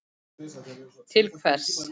Til hvers?